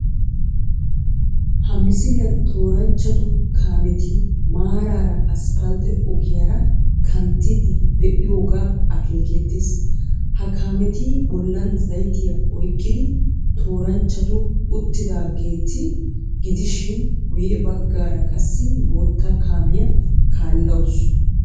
Ha misiliyan tooranchchatu kaameti maaraara asppaltte ogiyara kantiiddi de"iyogaa akeekeettees. Ha kaameti bollan zaytiya oykkidi tooranchchatu uttidaageeta gidishin guyye baggaara qassi bootta kaamiya kaallawusu.